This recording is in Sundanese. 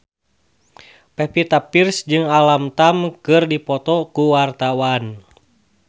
Pevita Pearce jeung Alam Tam keur dipoto ku wartawan